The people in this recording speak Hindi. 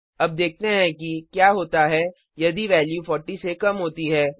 अब देखते हैं कि क्या होता है यदि वैल्यू 40 से कम होती है